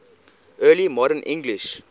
early modern english